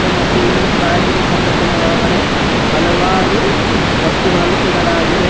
ಮತ್ತು ಇಲ್ಲಿ ಗಾಜಿನ ಕಪಾಟಿನ ಒಳಗಡೆ ಹಲವಾರು ವಸ್ತುಗಳನ್ನು ಇಡಲಾಗಿದೆ.